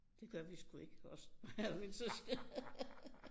Det gør vi sgu ikke os mig og mine søskende